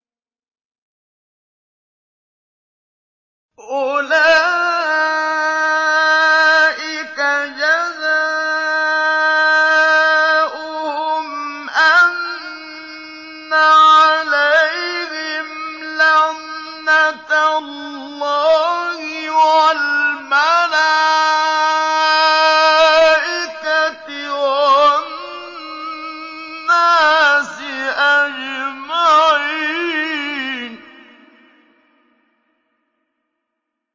أُولَٰئِكَ جَزَاؤُهُمْ أَنَّ عَلَيْهِمْ لَعْنَةَ اللَّهِ وَالْمَلَائِكَةِ وَالنَّاسِ أَجْمَعِينَ